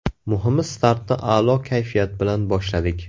Muhimi startni a’lo kayfiyat bilan boshladik.